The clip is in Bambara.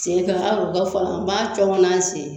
Sen ka har'u ka fɔ n b'a cɔŋɔ n'an sen